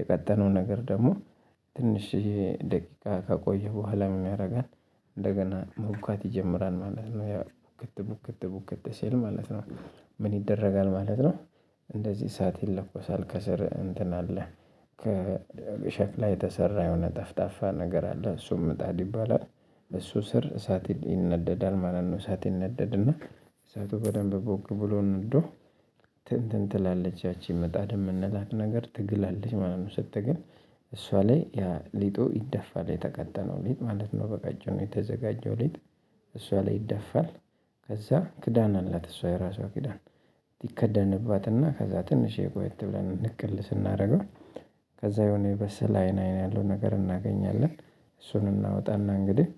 የቀጠነው ነገር ደግሞ ትንሽዬ ደቂቃ ከቆየ በኋላ የሚያደርገን እንደገና መቡካት ይጀምራል ማለት ነው ያ ቡክት ቡክት ቡክት ሲል ማለት ነው። ምን ይደረጋል ማለት ነው? እንደዚህ እሳት ይለኮሳል ከስር እንትን አለ። ከሸክላ የተሰራ የሆነ ጠፍጣፋ ነገር አለ እሱም ምጣድ ይባላል። እሱ ስር እሳት ይነደዳል ማለት ነው። እሳት ይነደድና እሳቱ በደንብ ቦግ ብሎ ነዶ። እንትን ትላለች ያቺ ምጣድ የምንላት ነገር ትግላለች ማለት ነው። ስትግል እሷ ላይ ሊጡ ይደፋ የተቀጠነው ሊጥ ማለት ነው። በቀጭኑ የተዘጋጀው ሊጥ እሷ ላይ ይደፋል። ከዛ ክዳን አላት እሷ የራሷ ክዳን ትከደንባትና ከዛ ትንሽ ቆየት ብለን ንቅል ስናደርገው። ከዛ የሆነ የበሰለ አይን አይን ያለው ነገር እናገኛለን። እሱን እናወጣና እንግዲህ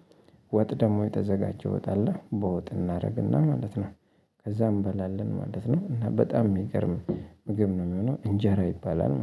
ወጥ ደግሞ የተዘጋጀ ወጥ አለ በወጥ እናደርግና ማለት ነው። ከዛ እንበላለን ማለት ነው። እና በጣም የሚገርም ምግብ ነው የሚሆነው እንጀራ ይባላል